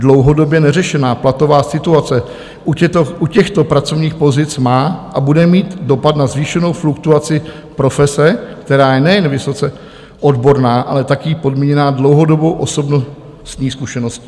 Dlouhodobě neřešená platová situace u těchto pracovních pozic má a bude mít dopad na zvýšenou fluktuaci profese, která je nejen vysoce odborná, ale taky podmíněná dlouhodobou osobnostní zkušeností.